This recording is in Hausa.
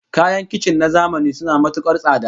Kayan kicin na zamani suna matukar tsada